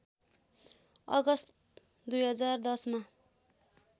अगस्त २०१० मा